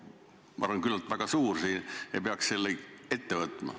Ma arvan, et konsensus oleks väga suur, et peaks selle ette võtma.